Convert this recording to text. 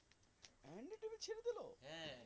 এমনি করে ছেড়ে দিল?